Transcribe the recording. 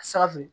Saga fu